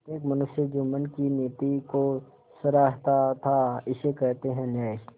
प्रत्येक मनुष्य जुम्मन की नीति को सराहता थाइसे कहते हैं न्याय